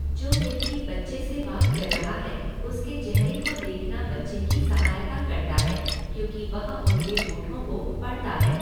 जो व्यक्ति बच्चे से बात कर रहा है उसके चेहरे को देखना बच्चे की सहायता करता है क्योंकि वह उनके होठों को पढ़ता है।